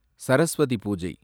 Saraswati Puja